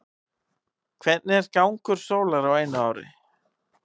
hvernig er gangur sólar á einu ári